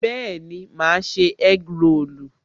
Bẹẹni, ma ṣe egg rolu